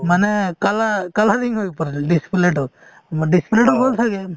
মানে colour~ colouring হৈ ওপৰলৈ display তো উম display তো গ'ল ছাগে